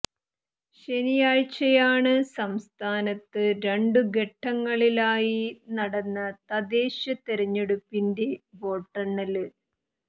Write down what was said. ശനിയാഴ്ചയാണ് സംസ്ഥാനത്ത് രണ്ടു ഘട്ടങ്ങളിലായി നടന്ന തദ്ദേശ തെരഞ്ഞെടുപ്പിന്റെ വോട്ടെണ്ണല്